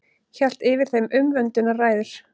Hélt yfir þeim umvöndunarræður.